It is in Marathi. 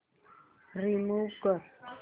रिमूव्ह कर